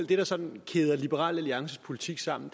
det der sådan kæder liberal alliances politik sammen